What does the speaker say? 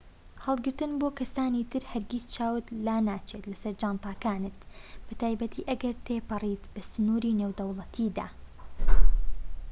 هەڵگرتن بۆ کەسانی تر هەرگیز چاوت لانەچێت لەسەر جانتاکانت بەتایبەتی ئەگەر تێپەڕیت بە سنوری نێودەوڵەتیدا